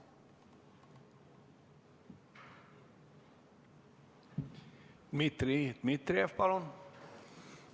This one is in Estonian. Dmitri Dmitrijev, palun!